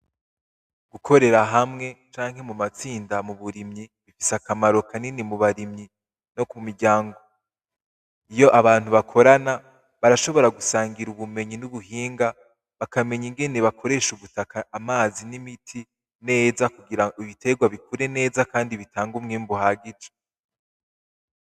Gukorera hamwe canke mumatsinda muburimyi bifise akamaro kanini mubarimyi no kumiryango. Iyo abantu bakorana barashobora gusangira ubumenyi nubuhinga bakamenya ingene bakoresha ubutaka, amazi n'imiti neza kugirango ibiterwa bikure neza kandi bitange umwimbu uhagije.